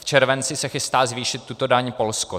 V červenci se chystá zvýšit tuto daň Polsko.